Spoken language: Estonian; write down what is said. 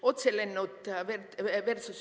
Otselennud vs.